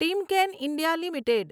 Timken India limited